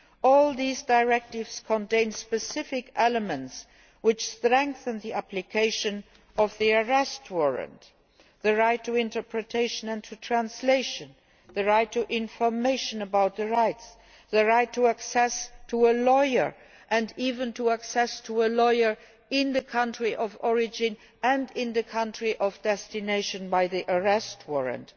All these directives contain specific elements which strengthen the application of the arrest warrant, the right to interpretation and to translation, the right to information about rights, the right to have access to a lawyer, and even to have access to a lawyer in the country of origin and in the country of destination under the Arrest Warrant,